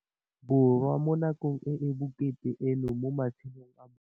Borwa mo nakong e e bokete eno mo matshelong a bona.